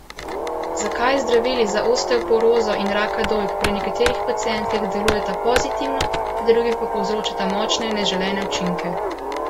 Zakaj zdravili za osteoporozo in raka dojk pri nekaterih pacientkah delujeta pozitivno, pri drugih pa povzročata močne neželene učinke?